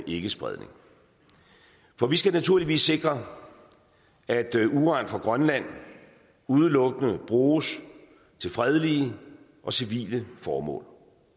ikkespredning for vi skal naturligvis sikre at uran fra grønland udelukkende bruges til fredelige og civile formål